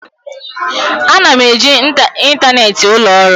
Ana m eji ịntanetị ụlọ ọrụ.